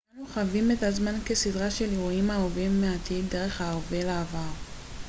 אנו חווים את הזמן כסדרה של אירועים העוברים מהעתיד דרך ההווה לעבר